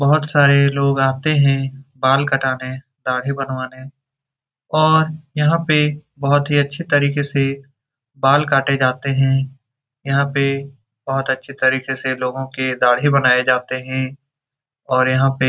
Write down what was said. बहुत सारे लोग आते हैं बाल कटवाने दाड़ी बनवाने और यहाँ पे बहुत ही अच्छी तरीके से बाल काटे जाते है यहाँ पे बहुत अच्छी तरीके से लोगो की दाड़ी बनाई जाती है और यहाँ पे --